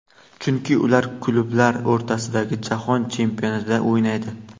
Chunki ular klublar o‘rtasidagi Jahon chempionatida o‘ynaydi.